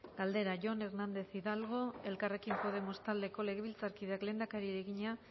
galdera jon hernández hidalgo elkarrekin podemos taldeko legebiltzarkideak lehendakariari egina